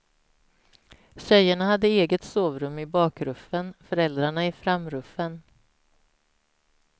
Tjejerna hade eget sovrum i bakruffen, föräldrarna i framruffen.